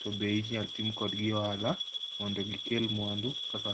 to be inyal tim kodgi ohala mondo gikel mwandu kaka